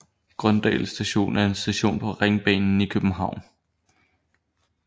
Grøndal Station er en station på Ringbanen i København